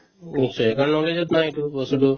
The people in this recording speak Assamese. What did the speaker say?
নিশ্চয় কাৰণ knowledge ত নাই এইটো বস্তুতো